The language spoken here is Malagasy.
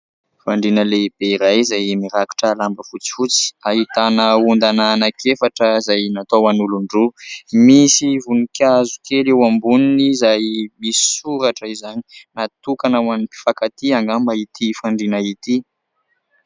Fandriana lehibe iray, izay mirakotra lamba fotsifotsy, ahitana ondana anankiefatra izay natao ho an'olon-droa, misy voninkazo kely eo amboniny izay misy soratra izany, natokana ho an'ny mpifakatia angamba ity fandriana ity.